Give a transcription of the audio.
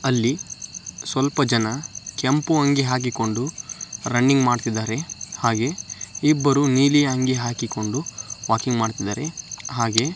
ಅಲ್ಲಿ ಸ್ವಲ್ಪ ಜನ ಕೆಂಪು ಅಂಗಿ ಹಾಕಿಕೊಂಡು ರನ್ನಿಂಗ್ ಮಾಡ್ತಿದ್ದಾರೆ ಹಾಗೆ ಇಬ್ಬರು ನೀಲಿ ಅಂಗಿ ಹಾಕಿಕೊಂಡು ವಾಕಿಂಗ್ ಮಾಡ್ತಿದ್ದಾರೆ ಹಾಗೆ--